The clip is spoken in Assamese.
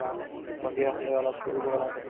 তাতে আমি চে cinema hall ত মই ticket কৰিম